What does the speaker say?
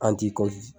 An ti